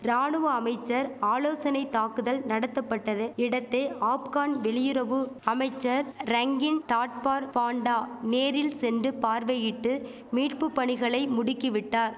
ராணுவ அமைச்சர் ஆலோசனை தாக்குதல் நடத்தபட்டது இடத்தை ஆப்கன் வெளியுறவு அமைச்சர் ரங்கின் தாட்பார் பான்டா நேரில் சென்டு பார்வையிட்டு மீட்புபணிகளை முடுக்கிவிட்டார்